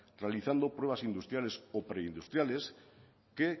realizando pruebas industriales o preindustriales que